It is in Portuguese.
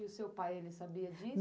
E o seu pai, ele sabia disso?